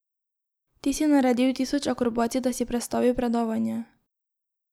Ti si naredil tisoč akrobacij, da si prestavil predavanja.